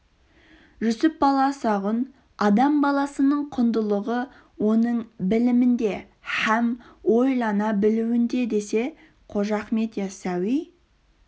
жүсіп баласағұн адам баласының құндылығы оның білімінде һәм ойлана білуінде десе қожа ахмет йассауи